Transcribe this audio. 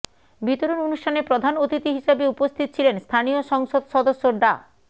বিতরণ অনুষ্ঠানে প্রধান অতিথি হিসেবে উপস্থিত ছিলেন স্থানীয় সংসদ সদস্য ডা